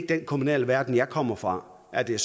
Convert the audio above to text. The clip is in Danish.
den kommunale verden jeg kommer fra at det